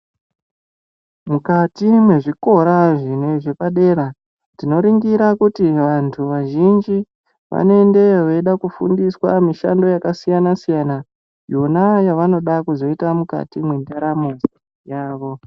Mukati mwezvikora zvine zvepadera tinoringira kuti vantu vazhinji vanoendayo veida kufundiswa mishando yakasiyana siyana yona yavanoda kuzoita mukati mwendaramo dza yavo.